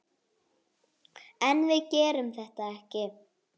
En við gerðum þetta ekki!